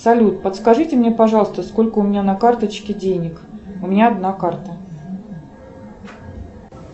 салют подскажите мне пожалуйста сколько у меня на карточке денег у меня одна карта